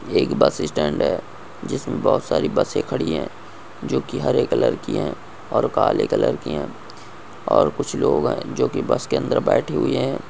एक bus stand है जिस मे बहुत सारे बस है जो कि हरे कलर की है और काले कलर की है और कुछ लोग है जो कि बस के अंदर बैठे हुए है।